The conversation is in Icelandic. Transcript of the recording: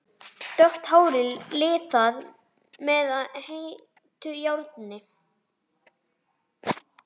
Dökkt hárið liðað með heitu járni.